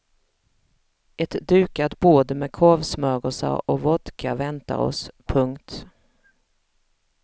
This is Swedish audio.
Ett dukat bord med korvsmörgåsar och vodka väntar oss. punkt